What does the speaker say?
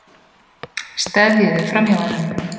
Steðjuðu framhjá honum.